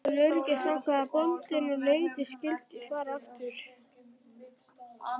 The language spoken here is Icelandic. Til öryggis ákvað bóndinn að nautið skyldi fara aftur.